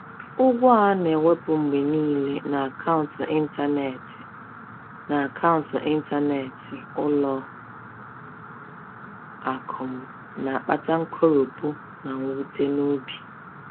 Ụgwọ a na-ewepụ mgbe niile n’akaụntụ ịntanetị n’akaụntụ ịntanetị ụlọ akụ m na-akpata nkoropụ na mwute n’obi.